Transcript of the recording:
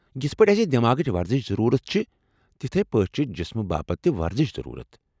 یتھ پٲٹھۍ اسہٕ دٮ۪ماغٕچ ورزش ضروٗرت چھےٚ، تتھے پٲٹھۍ چھےٚ جسمٕہ باپت تہِ ورزش ضروٗرتھ ۔